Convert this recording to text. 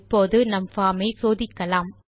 இப்போது நம் பார்ம் ஐ சோதிக்கலாம்